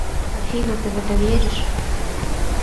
афина ты в это веришь